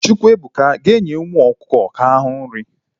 Chukwuemeka, gaa nye umu ọkụkọ ahụ nri!